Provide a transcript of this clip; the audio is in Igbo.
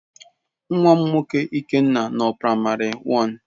Nwam nwoke Ikenna no na primary one.